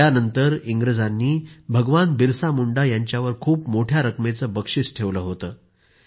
त्यानंतर इंग्रजांनी भगवान बिरसा मुंडा यांच्यावर खूप मोठ्या रकमेचं बक्षीस ठेवलं होतं